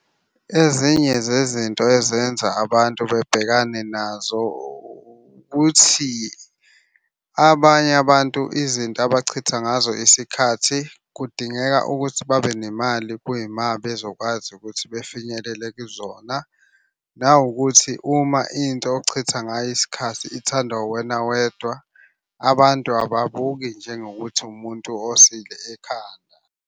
Ezinye zezinto ezenza abantu bebhekane nazo ukuthi abanye abantu izinto abachitha ngazo isikhathi kudingeka ukuthi babe nemali kuyima bezokwazi ukuthi befinyelele kuzona. Nawukuthi uma into ochitha ngayo isikhathi ithandwa uwena wedwa, abantu ababuki njengokuthi umuntu osile ekhanda.